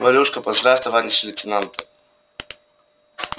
валюшка поздравь товарища лейтенанта